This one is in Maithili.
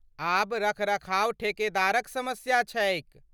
आब रख रखाव ठेकेदारक समस्या छै।